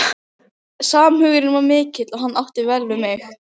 Þótti gaman að ég skyldi þekkja hann í venjulegum fötum.